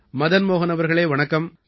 மதன் மோஹன் அவர்களே வணக்கம்